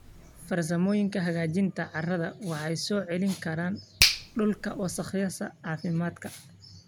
Farsamooyinka hagaajinta carrada waxay soo celin karaan dhulka wasakhaysan caafimaadka.